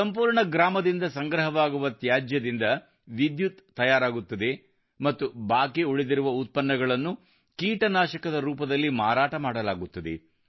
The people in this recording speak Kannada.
ಸಂಪೂರ್ಣ ಗ್ರಾಮದಿಂದ ಸಂಗ್ರಹವಾಗುವ ತ್ಯಾಜ್ಯದಿಂದ ವಿದ್ಯುತ್ ತಯಾರಾಗುತ್ತದೆ ಮತ್ತು ಬಾಕಿ ಉಳಿದಿರುವ ಉತ್ಪನ್ನಗಳನ್ನು ಕೀಟನಾಶಕದ ರೂಪದಲ್ಲಿ ಮಾರಾಟ ಮಾಡಲಾಗುತ್ತದೆ